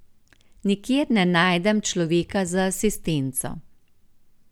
Nikjer ne najdem človeka za asistenco.